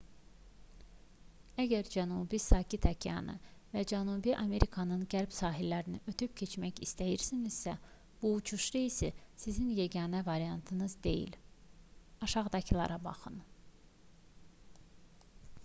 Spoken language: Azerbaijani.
əgər cənubi sakit okeanı və cənubi amerikanın qərb sahillərini ötüb keçmək istəyirsinizsə bu uçuş reysi sizin yeganə variantınız deyil. aşağıdakılara baxın